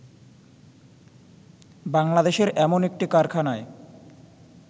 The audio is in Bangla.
বাংলাদেশের এমন একটি কারাখানায়